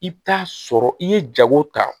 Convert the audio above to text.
I bɛ taa sɔrɔ i ye jago ta